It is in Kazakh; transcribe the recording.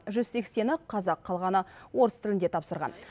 жүз сексені қазақ қалғаны орыс тілінде тапсырған